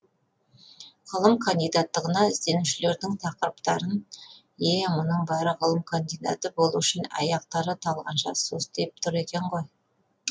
ғылым кандидаттығына ізденушілердің тақырыптарын е мұның бәрі ғылым кандидаты болу үшін аяқтары талғанша состиып тұр екен ғой